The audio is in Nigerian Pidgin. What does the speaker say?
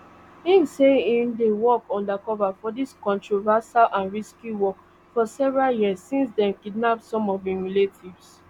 im say im dey work undercover for dis controversial and risky work for several years since dem kidnap some of im relatives